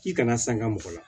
K'i kana sanga mɔgɔ la